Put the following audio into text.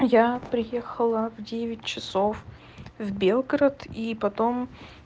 я приехала в девять часов в белгород и потом